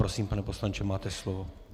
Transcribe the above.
Prosím, pane poslanče, máte slovo.